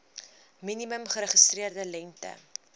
minimum geregistreerde lengte